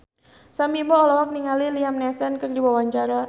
Sam Bimbo olohok ningali Liam Neeson keur diwawancara